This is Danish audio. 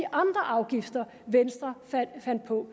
afgifter venstre fandt på